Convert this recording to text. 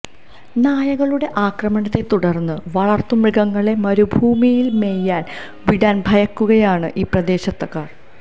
നായകളുടെ ആക്രമണത്തെ തുടര്ന്ന് വളര്ത്തുമൃഗങ്ങളെ മരുഭൂമിയില് മേയാന് വിടാന് ഭയക്കുകയാണ് ഈ പ്രദേശത്തുകാര്